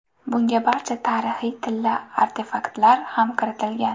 Bunga barcha tarixiy tilla artefaktlar ham kiritilgan.